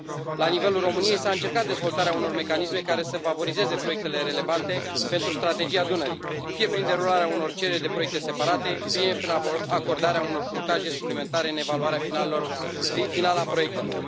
La nivelul României, s a încercat dezvoltarea unor mecanisme care să favorizeze proiectele relevante pentru Strategia Dunării, fie prin derularea unor cereri de proiecte separate, fie prin acordarea unor punctaje suplimentare în evaluarea finală a proiectelor.